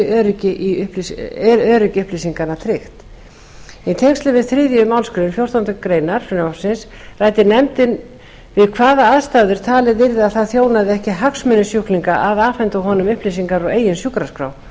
öryggi upplýsinganna tryggt í tengslum við þriðju málsgrein fjórtándu greinar frumvarpsins ræddi nefndin við hvaða aðstæður talið yrði að það þjónaði ekki hagsmunum sjúklings að afhenda honum upplýsingar úr eigin sjúkraskrá